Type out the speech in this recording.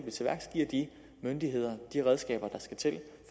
myndighederne de redskaber der skal til